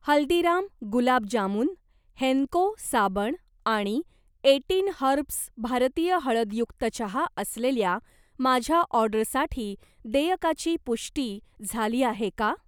हल्दीराम गुलाब जामुन, हेन्को साबण आणि eighteen herbs भारतीय हळदयुक्त चहा असलेल्या माझ्या ऑर्डरसाठी देयकाची पुष्टी झाली आहे का?